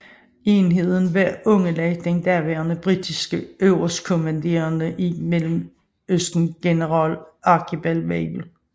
Enheden var underlagt den daværende britiske øverstkommanderende i Mellemøsten general Archibald Wavell